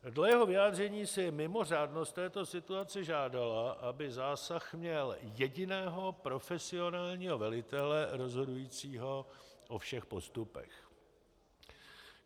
Dle jeho vyjádření si mimořádnost této situace žádala, aby zásah měl jediného profesionálního velitele, rozhodujícího o všech postupech.